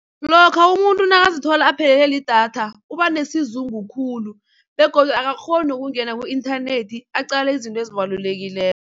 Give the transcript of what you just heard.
Lokha umuntu nakazithola aphelelwe lidatha ubanesizungu khulu begodu akakghoni nokungena ku-inthanethi aqale izinto ezibalulekileko.